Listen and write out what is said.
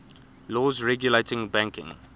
laws regulating banking